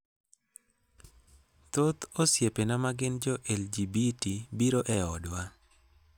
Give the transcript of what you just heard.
Thoth osiepena ma gin jo-LGBT biro e odwa.